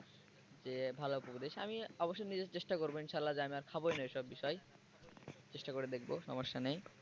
ভালো উপদেশ আমি অবশ্য নিজের চেষ্টা করবো ইনশাআল্লাহ যে আমি আর খাব না এসব বিষয় চেষ্টা করে দেখব সমস্যা। নেই